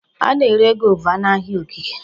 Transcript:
A na-ere Guava n'ahịa ogige.